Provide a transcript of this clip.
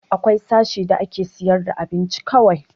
Akwai sashe da ake sayar da abinci kawai